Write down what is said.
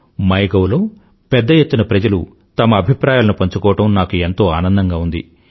my gov లో పెద్ద ఎత్తున ప్రజలు తమ అభిప్రాయాలను పంచుకోవడం నాకు ఎంతో ఆనందంగా ఉంది